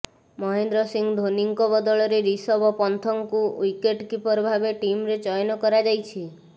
ମହେନ୍ଦ୍ର ସିଂ ଧୋନିଙ୍କ ବଦଳରେ ରିଷଭ ପନ୍ଥଙ୍କୁ ୱିକେଟ କିପର ଭାବେ ଟିମରେ ଚୟନ କରାଯାଇଛି